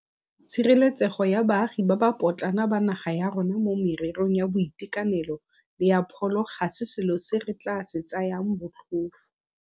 Tshireletsego ya baagi ba ba potlana ba naga ya rona mo mererong ya boitekanelo le ya pholo ga se selo se re tla se tsayang botlhofo.